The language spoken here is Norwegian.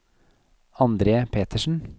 Andre Petersen